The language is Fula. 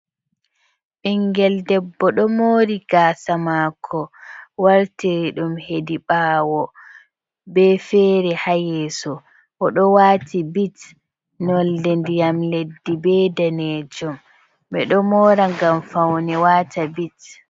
Ɓingel debbo ɗo mori gaasa maako wartiri ɗum hedi ɓawo, be fere ha yeso o ɗo wati bit nolde ndiyam leddi be danejum, ɓeɗo mora ngam faune wata bit.